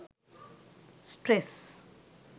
stress